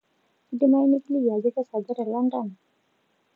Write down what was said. kedimayu nikiliki ajoo kesaaja te london